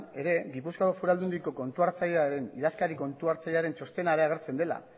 ere gipuzkoako foru aldundiko idazkari kontu hartzailearen txostena ere agertzen dela